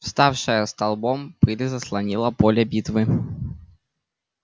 вставшая столбом пыль заслонила поле битвы